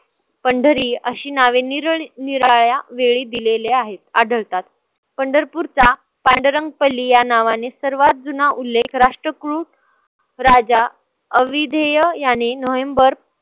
पंढरी अशी नावे निरनिराळ्या वेळी दिलेले आहेत आढळतात. पंढरपूरचा पांडुरंग पल्ली या नावाने सर्वात जुना उल्लेख राष्ट्रकुळ राजा अविधेय याने नोव्हेंबर